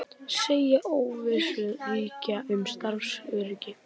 Segja óvissu ríkja um starfsöryggi